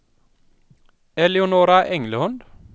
Eleonora Englund